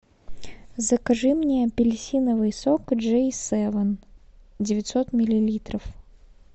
закажи мне апельсиновый сок джей севен девятьсот миллилитров